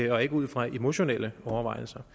og ikke ud fra emotionelle overvejelser